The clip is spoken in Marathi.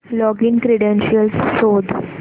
लॉगिन क्रीडेंशीयल्स शोध